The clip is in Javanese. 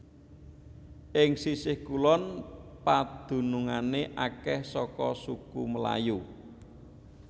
Ing sisih kulon padunungé akèh saka suku Melayu